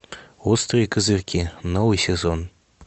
острые козырьки новый сезон